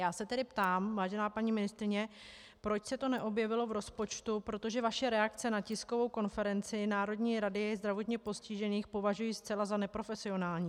Já se tedy ptám, vážená paní ministryně, proč se to neobjevilo v rozpočtu, protože vaše reakce na tiskovou konferenci Národní rady zdravotně postižených považuji zcela za neprofesionální.